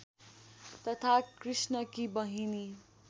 तथा कृष्णकी बहिनी